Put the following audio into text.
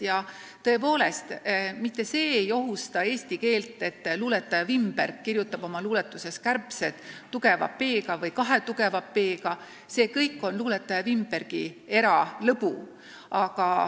Ja tõepoolest, mitte see ei ohusta eesti keelt, et luuletaja Wimberg kirjutab oma luuletuses sõna "kärbsed" tugeva p-ga või kahe tugeva p-ga – see kõik on luuletaja Wimbergi eralõbu.